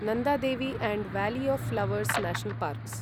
Nanda Devi and valley of flowers national parks